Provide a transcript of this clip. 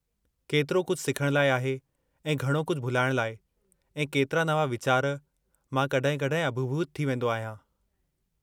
केतिरो कुझु सिखण लाइ आहे, ऐं घणो कुझु भुलाइण लाइ, ऐं केतिरा नवां वीचारु, मां कड॒हिं -कड॒हिं अभिभूतु थी वींदो आहियां।